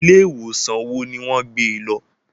Ilé ìwòsàn wo ní wọ́n gbé e lọ